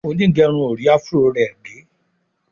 Onigerun or rí afro rẹ gé.